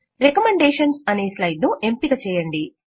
recommendations అనే slide ను ఎంపిక చేయండి